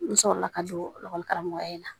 N sɔrɔ la ka don karamɔgɔya in na